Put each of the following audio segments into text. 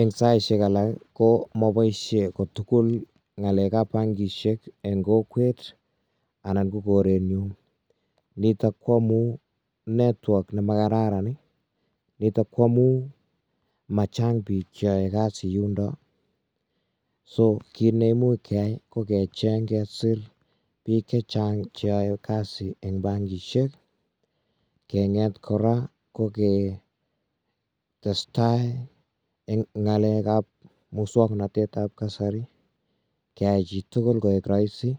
Eng saisiek alak ko moboisie kotugul ngalekab bankishek eng kokwet anan ko koretnyu nitok koamu network nemo kararan nitok koamu machang bik cheoe kasi yundok so kit neimuch keai kokecheng kesir bik chechang cheoe kasi eng bankishek kemget kora koke testai eng ngalekab musoknotetab kasari keai chitugul koek rahisi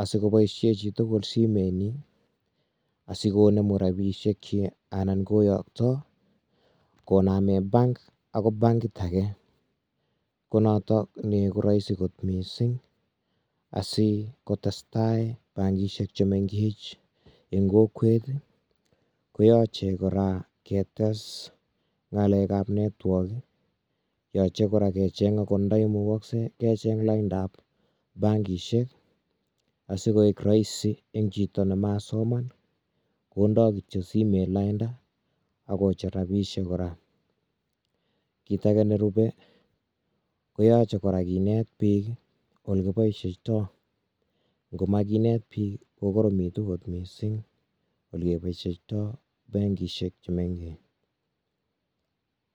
asiko boisie chitugul simetnyi asikonemu rapisiekyik anan koyokto koname bank agoi bankit ake konotok ne koraisi mising asikotestai bankishek chemengech eng kokwet koyache kora ketes ngalekab network yochei kora kecheng angot ndai mukoksei kecheng laindap bankishek asikoek rahisi eng chito nemasoman kondoi kityo simet lainda akocher rabisiek kora kit ake nerube koyache kora kinet bik olekiboisieito ngomakinet bik kokoromitu gotmising olekeboisieitoi bankisiek chu mengech.